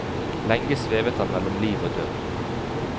Lenge svevet han mellom liv og død.